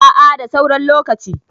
a a da sauran lokaci